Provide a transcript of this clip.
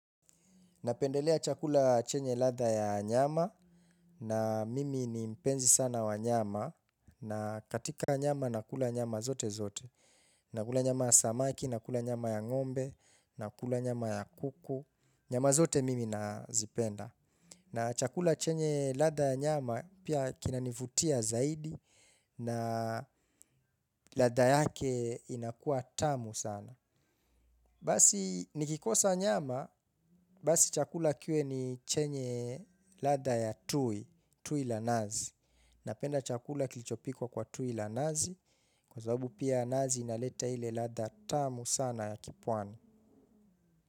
Napendelea chakula chenye ladha ya nyama, na mimi ni mpenzi sana wa nyama, na katika nyama nakula nyama zote zote. Nakula nyama ya samaki, nakula nyama ya ng'ombe, nakula nyama ya kuku, nyama zote mimi nazipenda. Na chakula chenye ladha ya nyama pia kinanivutia zaidi, na ladha yake inakua tamu sana. Basi nikikosa nyama, basi chakula kue ni chenye ladha ya tui, tui la nazi. Napenda chakula kilichopikwa kwa tui la nazi kwa sababu pia nazi inaleta ile ladha tamu sana ya kipwani.